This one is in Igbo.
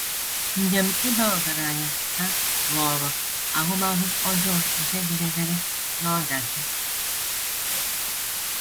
“ Njem ịba ọgaranya ” ha ghọrọ ahụmahụ ọjọọ nke jedebere n’ọdachi.